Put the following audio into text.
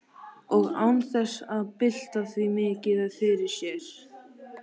Og án þess að bylta því mikið fyrir sér.